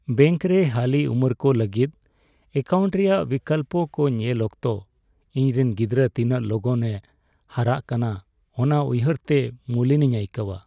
ᱵᱮᱝᱠᱨᱮ ᱦᱟᱹᱦᱤ ᱩᱢᱮᱨ ᱠᱚ ᱞᱟᱹᱜᱤᱫ ᱮᱠᱟᱣᱩᱱᱴ ᱨᱮᱭᱟᱜ ᱵᱤᱠᱚᱞᱯᱚ ᱠᱚ ᱧᱮᱞ ᱚᱠᱛᱚ ᱤᱧᱨᱮᱱ ᱜᱤᱫᱽᱨᱟᱹ ᱛᱤᱱᱟᱹᱜ ᱞᱚᱜᱚᱱᱮ ᱦᱟᱨᱟᱜ ᱠᱟᱱᱟ ᱚᱱᱟ ᱩᱭᱦᱟᱹᱨᱛᱮ ᱢᱩᱞᱤᱱᱤᱧ ᱟᱹᱭᱠᱟᱹᱣᱟ ᱾